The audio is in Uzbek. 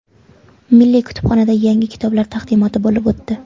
Milliy kutubxonada yangi kitoblar taqdimoti bo‘lib o‘tdi.